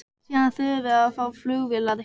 Síðan þurfum við að fá flugvélar.